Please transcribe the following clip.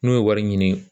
N'u ye wari ɲini